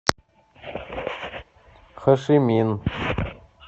хошимин